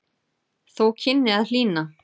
Þó kynni að hlýna.